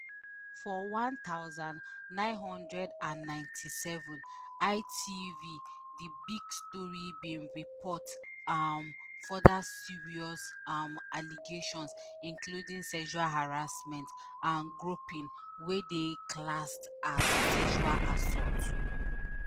for one thousand, nine hundred and ninety-seven ITV the big story bin report um further serious um allegations including sexual harassment and groping wey dey classed as sexual assault